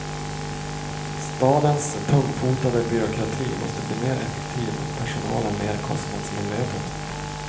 Stadens tungfotade byråkrati måste bli mer effektiv och personalen mer kostnadsmedveten.